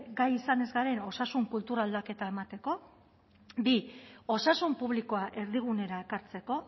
gai izan ez garen osasun kultura aldaketa emateko bi osasun publikoa erdigunera ekartzeko